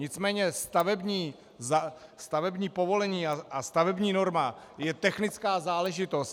Nicméně stavební povolení a stavební norma je technická záležitost.